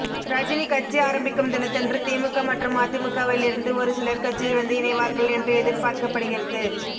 ரஜினி கட்சி ஆரம்பிக்கும் தினத்தன்று திமுக மற்றும் அதிமுகவில் இருந்து ஒரு சிலர் கட்சியில் வந்து இணைவார்கள் என்று எதிர்பார்க்கப்படுகிறது